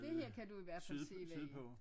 Det her kan du i hvertfald se hvad er